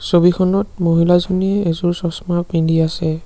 ছবিখনত মহিলাজনীয়ে এযোৰ চশমা পিন্ধি আছে।